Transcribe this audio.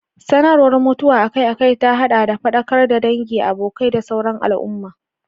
Sanarwar mutuwa akai-akai ta haɗa da faɗakar da dangi, abokai, da sauran al'umma.